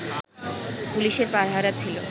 পুলিশের পাহারা ছিলো